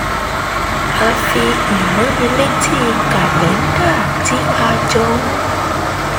a fi ìránnilétí kàlẹ́ńdà tí a jọ ń